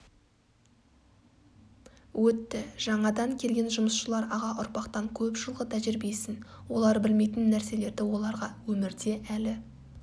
өтті жаңадан келген жұмысшылар аға ұрпақтан көп жылғы тәжрибесін олар білмейтін нәрселерді оларға өмірде әлі